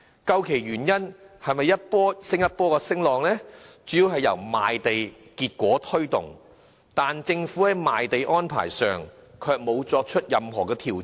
究其原因，是這一波又一波的升浪主要由賣地結果推動，但政府在賣地安排上卻沒有作出任何調整。